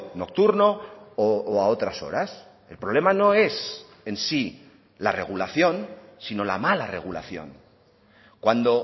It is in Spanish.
nocturno o a otras horas el problema no es en sí la regulación sino la mala regulación cuando